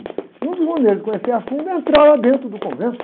E uma das maneiras de conhecer a fundo é entrar lá dentro do convento.